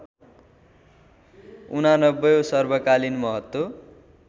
८९ औँ सर्वकालीन महत्त्व